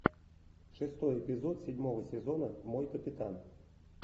шестой эпизод седьмого сезона мой капитан